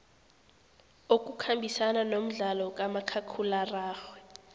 okukhambisana nomdlalo kamakhakhulararhwe